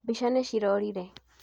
Mbica nĩcirorire.